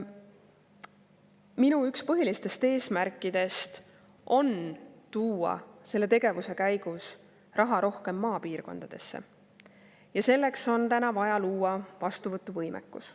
Minu üks põhilistest eesmärkidest on tuua selle tegevuse käigus raha rohkem maapiirkondadesse ja selleks on vaja luua vastuvõtuvõimekus.